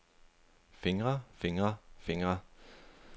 fingre fingre fingre